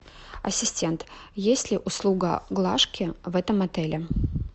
ассистент есть ли услуга глажки в этом отеле